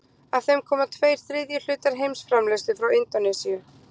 Af þeim koma tveir þriðju hlutar heimsframleiðslu frá Indónesíu.